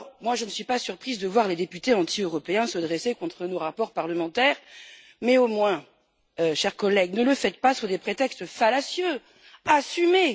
Je ne suis pas surprise de voir les députés anti européens se dresser contre nos rapports parlementaires mais au moins, chers collègues ne le faites pas sous des prétextes fallacieux, assumez!